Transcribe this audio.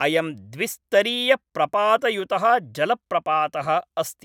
अयं द्विस्तरीयप्रपातयुतः जलप्रपातः अस्ति।